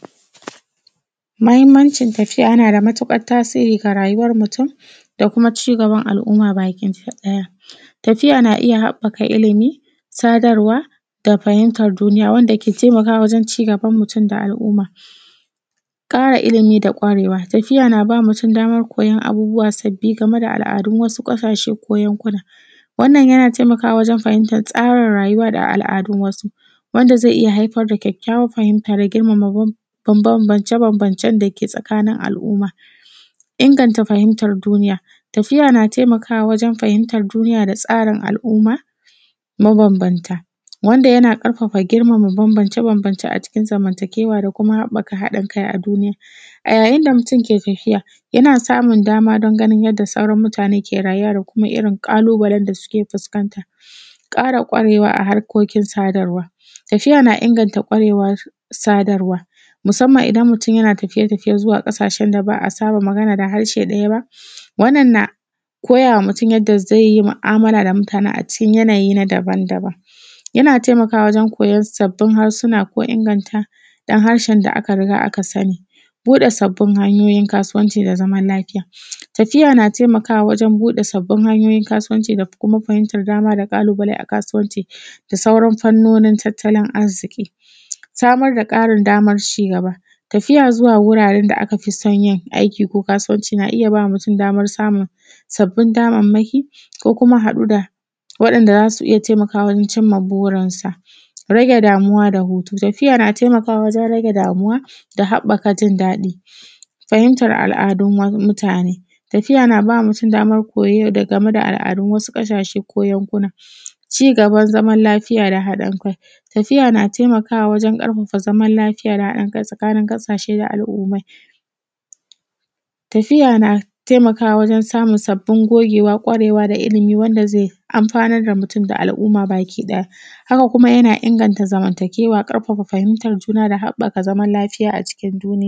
Mahimmancin tafiya yana da matuƙar tasiri ga rayuwar mutum, da kuma ci gaban al’umma bakinta daya. Tafiya na iya habaka ilimi, sadarwa, da fahimtar duniya, wadda ke taimakawa wajen ci gaban mutum da al’umma. ƙara ilimi da ƙwarewa: tafiya naba mutum damar koyon abubuwa sabbi game da al’adun wasu ƙasashe ko yankuna, wannan yana taimaka wajen fahimta tsarin rayuwa da al’adun wasu, wanda ze iya haifar da kyakkyawan fahimta da girmama bambamcen dake tsakanin al’umma. Inganta fahimtar duniya: tafiya na taimakawa wajen fahimtar duniya da tsarin al’umma mabambamta, wanda yana ƙarfafa girmama bambamce-bambamce a cikin zamantakewa da kuma haɓaka haɗin kai a duniya. A yayin da ke tafiya, yana samun dama don ganin yadda sauran mutane ke rayuwa da kuma irin ƙalubalen da suke fuskanta. ƙara ƙwarewa a harkokin sadarwa: tafiya na inganta ƙwarewar sadarwa, musamman idan mutum yana tafiye-tafiye zuwa ƙasashen da ba a saba magana da haraɓe ɗaya ba, wanna na koyama mutum yanda zai yi mu’amala da mutane a cikin yana yi na daban-daban, yana taimakawa wajen koyon sabbin harsuna ko inganta dan harshe da aka riga aka sani. Buɗa sabbin hanyoyin kasuwanci da zaman lafiya: tafiya na taimakawa wajen buɗe sabbin hanyoyin kasuwanci da kuma fahimtar dama da ƙalubale a kasuwanci da sauran fannonin tattalin arziki. Samar da ƙarin damar ci gaba: tafiya zuwa wuraren da aka fi son yin aiki ko kasuwanci na iya ba mutum damar samun sabbin damarmaki ko kuma haɗu da waɗanda za su iya taimakawa wajen cimma burinsa. Rage damuwa da hutu: tafiya na taimakawa wajen rage damuwa da haɓaka jin daɗi. Fahimtar al’adun wasu mutane: tafiya naba mutum damar koyo daga, game da al’adun wasu ƙasashe ko yankuna. Ci gaban zaman lafiya da haɗin kai: tafiya taimakawa wajen ƙarfafa zaman lafiya da haɗin kai tsakanin ƙasashe da al’ummai. Tafiya na taimakawa wajen samun sabbin gogewa, ƙwarewa da ilimi wanda zai amfanar da mutum da al’umma baki ɗaya, haka kuma yana inganta zamantakewa, ƙarfafa fahimtar juna da haɓaka zaman lafiya a cikin duniya.